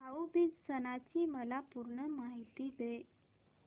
भाऊ बीज सणाची मला पूर्ण माहिती दे